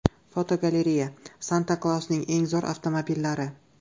Fotogalereya: Santa Klausning eng zo‘r avtomobillari.